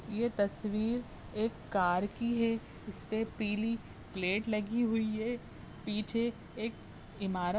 ये तस्वीर एक कार की है इसपे पीली प्लेट लगी हुई है। पीछे एक ईमारत --